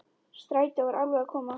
Strætó var alveg að koma.